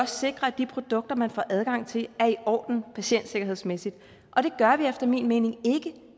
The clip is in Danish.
sikrer at de produkter man får adgang til er i orden patientsikkerhedsmæssigt og det gør vi efter min mening ikke